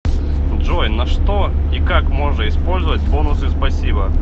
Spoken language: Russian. джой на что и как можно использовать бонусы спасибо